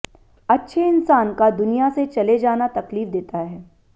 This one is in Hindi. अच्छे इंसान का दुनिया से चले जाना तकलीफ देता है